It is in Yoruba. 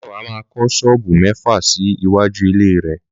Máyọ̀wá máa kọ́ ṣọ́ọ̀bù mẹ́fà sí iwájú ilé rẹ̀